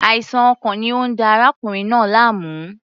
Àìsàn ọkàn ni ó ń da arákùnrin náà láàmú.